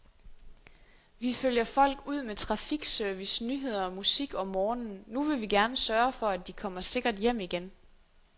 Vi følger folk ud med trafikservice, nyheder og musik om morgenen, nu vil vi gerne sørge for, at de kommer sikkert hjem igen.